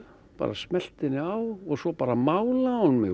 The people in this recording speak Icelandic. bara smellti henni á og svo bara málaði hún mig